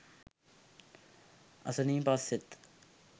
අසනීප අස්සෙත්